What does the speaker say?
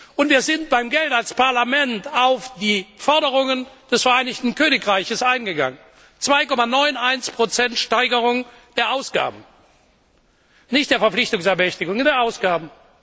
Und wir sind beim Geld als Parlament auf die Forderungen des Vereinigten Königreichs eingegangen 2,91 Steigerung der Ausgaben nicht der Verpflichtungsermächtigungen, sondern der Ausgaben.